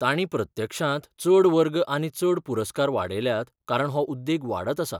तांणी प्रत्यक्षांत चड वर्ग आनी चड पुरस्कार वाडयल्यात कारण हो उद्देग वाडत आसा.